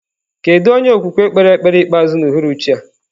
Kedu onye okwukwe kpere ekpere ikpeazụ n'uhuruchi a?